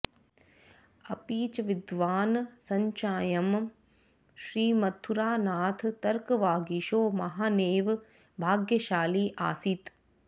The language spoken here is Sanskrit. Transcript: अपि च विद्वान् संश्चायं श्रीमथुरानाथतर्कवागीशो महानेव भाग्यशाली आसीत्